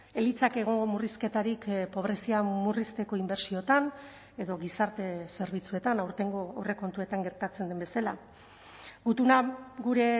ez litzake egongo murrizketarik pobrezia murrizteko inbertsioetan edo gizarte zerbitzuetan aurtengo aurrekontuetan gertatzen den bezala gutuna gure